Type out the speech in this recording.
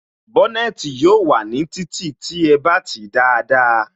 Bónètī yóò wà ní títì tí ẹ bá tìí dáadáa